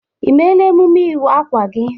I mela emume iwa akwa gị?